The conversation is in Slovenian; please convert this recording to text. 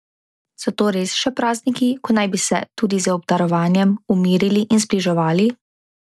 So to res še prazniki, ko naj bi se, tudi z obdarovanjem, umirili in zbliževali?